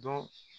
Dɔn